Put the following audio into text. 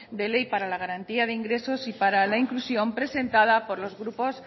de ley para la garantía de ingresos y para la inclusión presentada por los grupos